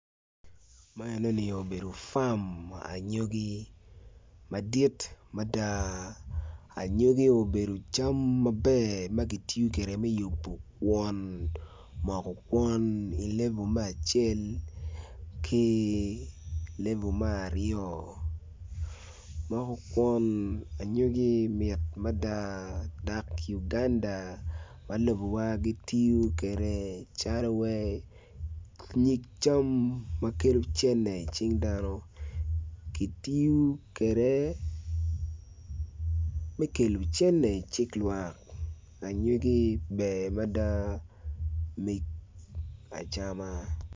Man enini obedo fami anyogi madit mada, anyogi obedo cam maber magitiyo kwede me yubo kwon moko kwon ilevo me acel ki level me aryo moko kwon anyogi mit mada dok Uganda ma lobo wa gitiyo kede calo wai nyig cam makelo cene i cing dano, kitiyo kede me kelo cene i cik lwak, anyogi ber mada me acama.